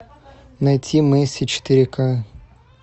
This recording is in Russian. найти месси четыре ка